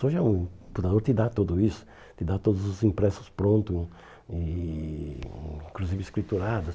Hoje é um o fundador te dá tudo isso, te dá todos os impressos prontos, e inclusive escriturados.